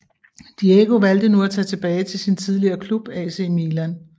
Diego valgte nu at tage tilbage til sin tidligere klub AC Milan